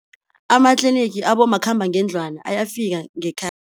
Amatlinigi abomakhambangendlwana ayafika